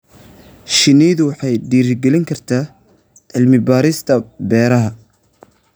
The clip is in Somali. Shinnidu waxay dhiirigelin kartaa cilmi-baarista beeraha.